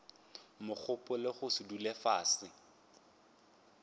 megopolo go se dule fase